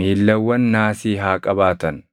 miillawwan naasii haa qabaatan.